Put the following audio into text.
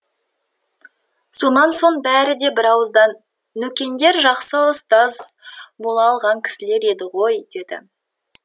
сонан соң бәрі де бірауыздан нөкеңдер жақсы ұстаз бола алған кісілер еді ғой деді